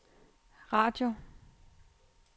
radio